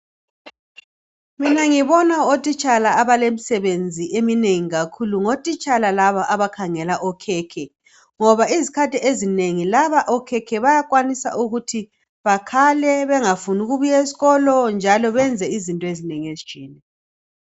Mina ngibona otitshala abalemisebenzi eminengi kakhulu. Ngotitshala laba abakhangela okhekhe. Ngoba izikhathi ezinengi laba okhekhe bayakhwanisa ukuthi bakhale, bengafuni ukubuye esikolo njalo benze izinto ezinengi ezitshiyeneyo.